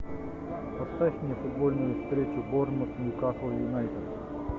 поставь мне футбольную встречу борнмут ньюкасл юнайтед